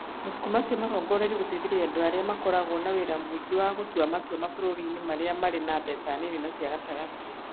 Mabuku macio marongoreirio gũteithĩrĩria andũ arĩa makoragwo na wĩra mũingĩ wa gũtua matua mabũrũri-inĩ marĩa marĩ na mbeca nini na cia gatagatĩ.